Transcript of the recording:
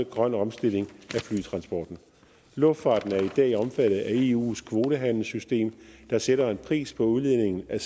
grøn omstilling af flytransporten luftfarten er i dag omfattet af eus kvotehandelssystem der sætter en pris på udledningen af